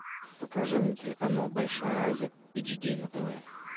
покажи мне телеканал большая азия эйч ди на тв